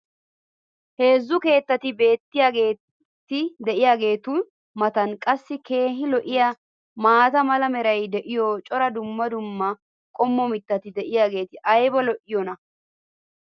heezzu keettati beetiyaageeti diyaageetu matan qassi keehi lo'iyaa maata mala meray diyo cora dumma dumma qommo mitati diyaageti ayba lo'iyoonaa?